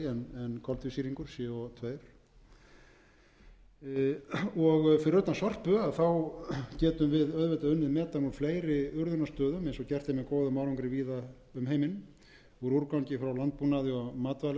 en koltvísýringur co tvö fyrir utan sorpu getum við auðvitað unnið metan úr fleiri urðunarstöðum eins og gert er með góðum árangri víða um heiminn úr úrgangi frá landbúnaði og matvælaiðnaði þetta eru menn farnir að